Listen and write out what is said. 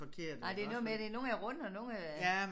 Nej det noget med det nogle er runde og nogle er